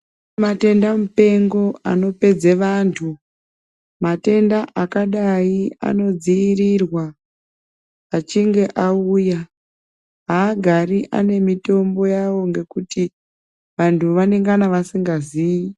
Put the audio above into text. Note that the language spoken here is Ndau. Kune matenda mupengo anopedza antu matenda akadai inodzivirira achinge auya haagari ane mitombo yawo ngekuti vantu vanongana vasingazivi.